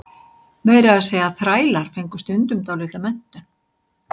meira að segja þrælar fengu stundum dálitla menntun